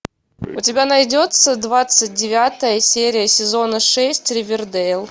у тебя найдется двадцать девятая серия сезона шесть ривердейл